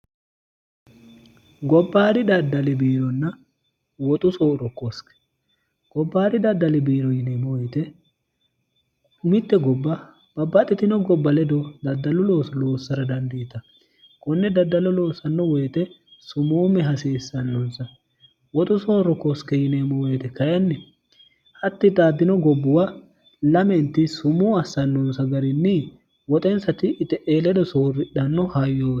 gobbaari daddalibiironna woxu sooro koske gobbaari daddali biiro yineemo oyite kumitte gobba babbaxitino gobba ledo daddallu loo loossara dandieta kunne daddallo loossanno woyite sumuumme hasiissannonsa woxu soorro koske yineemo woyite kayinni hatti xaaddino gobbuwa lamenti sumuu assannonsa garinni woxensati ie e ledo soorridhanno hayyohoo